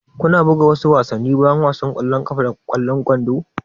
Kuna buga wasu wasanni bayan wasan ƙwallon ƙafa da ƙwallon kwando?